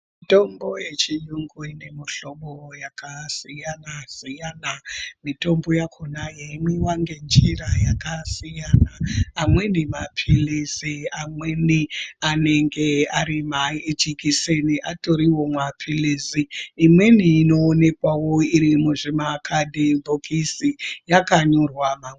Mitombo ye chiyungu ine mu hlobo yaka siyana siyana mitombo yakona yei mwiwa nge njira yakasiyana amweni mapilizi amweni anenge ari ma jekiseni atoriwo mapilizi imweni ino onekwawo iri muzvima kadhibhokisi yaka nyorwa.